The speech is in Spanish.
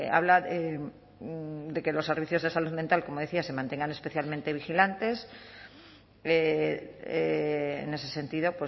habla de que los servicios de salud mental como decía se mantengan especialmente vigilantes en ese sentido